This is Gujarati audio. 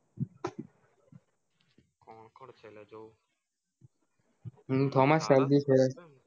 thomas shelby છે